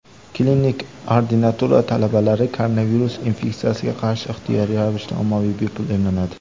klinik ordinatura talabalari koronavirus infeksiyasiga qarshi ixtiyoriy ravishda ommaviy bepul emlanadi.